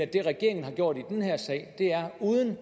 det regeringen har gjort i den her sag er uden at